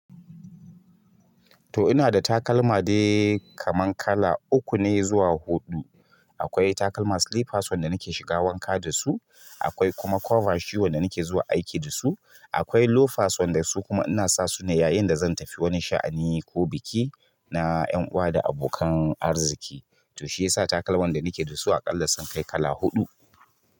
To ina da takalma dai kaman kala uku ne zuwa huɗu. Akwai takalma slippers wanda nake shiga wanka da su, akwai kuma cover shoe wanda nake zuwa aiki da su, akwai loafers wanda su kuma ina sa su ne yayin da zan tafi wani sha'ani ko biki na ƴan uwa da abokan arziki. To shi yasa takalman da nake da su aƙalla sun kai kala huɗu.